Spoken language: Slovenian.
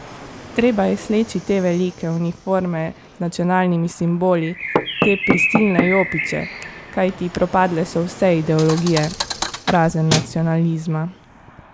Treba je sleči te velike uniforme z nacionalnimi simboli, te prisilne jopiče, kajti propadle so vse ideologije, razen nacionalizma.